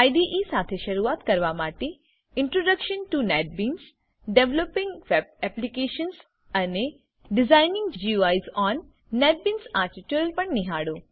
IDE સાથે શરૂઆત કરવા માટે introduction to NetBeans developing web applications અને ડિઝાઇનિંગ ગુઇસ ઓન નેટબીન્સ આ ટ્યુટોરીયલો પણ નિહાળો